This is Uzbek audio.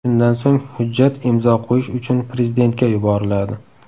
Shundan so‘ng, hujjat imzo qo‘yish uchun prezidentga yuboriladi.